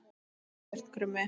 Vel gert, Krummi!